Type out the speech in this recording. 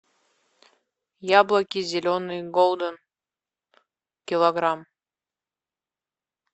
яблоки зеленые голден килограмм